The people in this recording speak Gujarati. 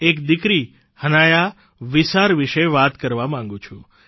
હું કાશ્મીરની એક દીકરી હનાયા વિસાર વિશે વાત કરવા માંગું છું